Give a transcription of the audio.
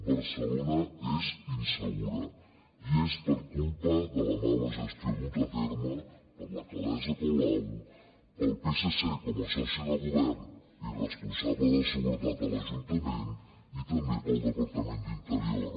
barcelona és insegura i és per culpa de la mala gestió duta a terme per l’alcaldessa colau pel psc com a soci de govern i responsable de seguretat a l’ajuntament i també pel departament d’interior